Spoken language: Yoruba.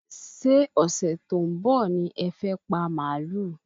Ṣé ọ̀sẹ̀ tó ń bọ̀ ní ẹ fẹ́ pa màálù?